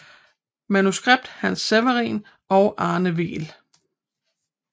Manuskript Hans Severinsen og Arne Weel